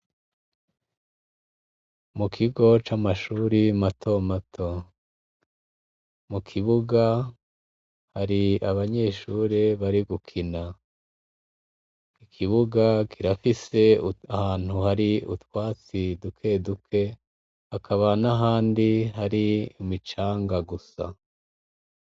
Mukigo camashure matomato mukibuga hari abanyeshure bari gukina ikibuga kirafise ahantu hari utwatsi dukeduke bakaba nahandi hari imicanga gusa